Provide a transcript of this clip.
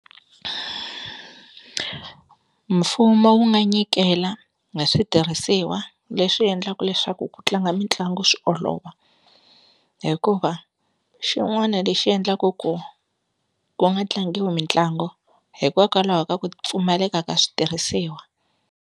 Mfumo wu nga nyikela na switirhisiwa leswi endlaku leswaku ku tlanga mitlangu swi olova, hikuva xin'wana lexi endlaka ku ku nga tlangiwi mitlangu hikokwalaho ka ku pfumaleka ka switirhisiwa.